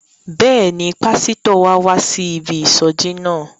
Bẹ́ẹ̀ni, pásítọ̀ wa wá sí ibi ìsọjí náà.